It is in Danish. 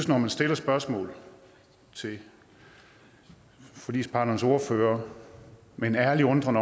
når man stiller spørgsmål til forligsparternes ordførere med en ærlig undren